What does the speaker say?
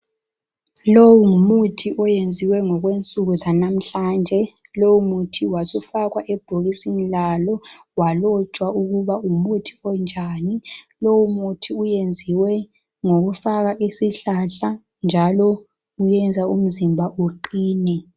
lowu ngumuthi owenziwe ngokwensuku zanamuhlanje lowu muthi wasufakwa ebhokisini lalo walotshwa ukubana ngumuthi onjani lowu muthi wenziwe ngokufaka isihlahla njalo uyenza umzimba uqine